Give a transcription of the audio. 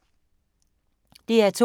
DR2